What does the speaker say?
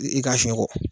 I ka fiɲɛ bɔ